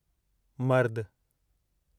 मर्दु